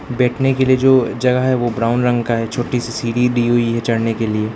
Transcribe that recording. बैठने के लिए जो जगह है वो ब्राउन रंग का है छोटी सी सीढ़ी दी हुई है चढ़ने के लिए।